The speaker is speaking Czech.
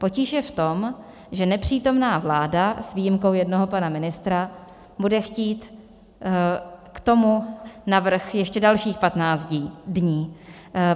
Potíž je v tom, že nepřítomná vláda s výjimkou jednoho pana ministra bude chtít k tomu navrch ještě dalších 15 dní.